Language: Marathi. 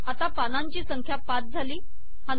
आता पानांची संख्या ५ झाली